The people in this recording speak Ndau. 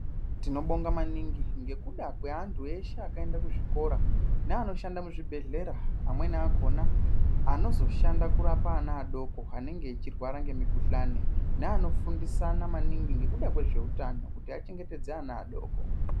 Tinobonga maningi ngekuda kwevantu eshe akaenda kuzvikora, neanoshanda muzvibhedhlera , amweni akhona, anozoshanda kurapa ana adoko anenge echirwara ngemikhuhlani, neunofundisana maningi, ngekuda kwezveutano kuti achengetedze ana adoko.